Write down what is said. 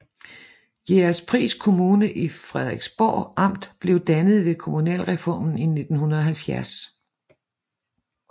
Jægerspris Kommune i Frederiksborg Amt blev dannet ved kommunalreformen i 1970